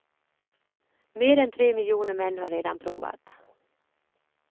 Mer än tre miljoner män har redan provat.